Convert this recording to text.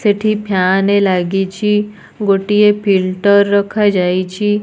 ସେଠି ଫ୍ୟାନେ ଲାଗିଛି ଗୋଟିଏ ଫିଲଟର ରଖାଯାଇଛି।